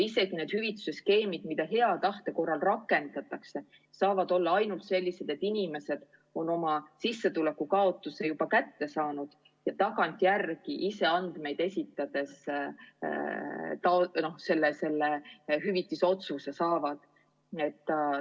Ja need hüvituse skeemid, mida hea tahte korral rakendatakse, saavad olla ainult sellised, et inimesed on oma sissetulekus juba kaotanud ja hüvitise otsus tehakse nende tagantjärele esitatud andmete põhjal.